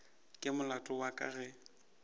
ke molato wa ka ge